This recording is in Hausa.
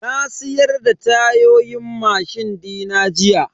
Na siyar da tayoyin mashin dina jiya.